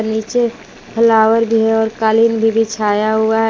नीचे फ्लावर भी है और कालीन भी बिछाया हुआ है।